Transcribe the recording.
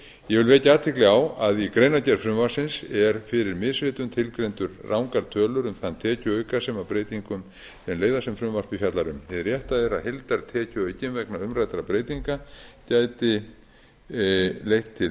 ég vil vekja athygli á að í greinargerð frumvarpsins er fyrir misritun tilgreindar rangar tölur um þann tekjuauka sem af breytingum þeirra leiða sem frumvarpið fjallar um hið rétta er að heildartekjuaukinn vegna umræddra breytinga gæti leitt til